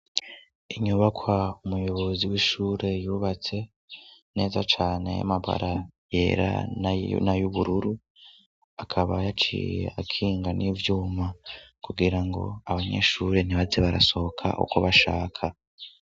Inyubakwa umuyobozi w'ishure yubatse neza cane y'amabara yera na y'ubururu akaba yaciye akinga n'ivyuma kugira ngo abanyeshure ntibaze barasohoka uko bashaka.